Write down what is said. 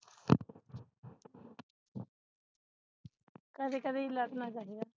ਕਦੇ ਕਦੇ ਹੀ ਲੜਣਾ ਚਾਹੀਦਾ